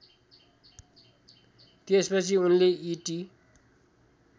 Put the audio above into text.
त्यसपछि उनले इटी